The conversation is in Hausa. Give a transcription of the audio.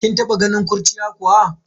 Kin taba ganin kurciya kuwa?